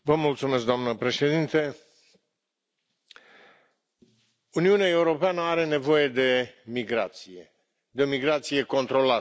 Doamna președintă, Uniunea Europeană are nevoie de migrație, de o migrație controlată.